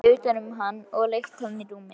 Tekið utan um hann og leitt hann í rúmið.